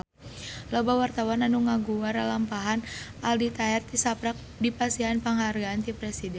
Loba wartawan anu ngaguar lalampahan Aldi Taher tisaprak dipasihan panghargaan ti Presiden